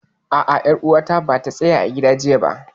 A'a, ƴar uwata bata tsaya a gida jiya ba